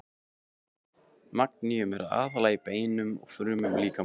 Magníum er aðallega í beinum og frumum líkamans.